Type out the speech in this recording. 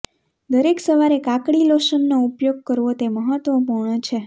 દરેક સવારે કાકડી લોશનનો ઉપયોગ કરવો તે મહત્વપૂર્ણ છે